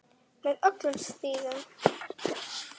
Með öllum síðunum?